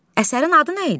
Əsərin adı nə idi?